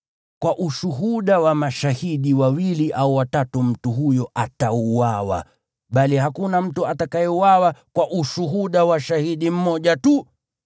Kwa ushuhuda wa mashahidi wawili au watatu mtu huyo atauawa, bali hakuna mtu atakayeuawa kwa ushuhuda wa shahidi mmoja tu.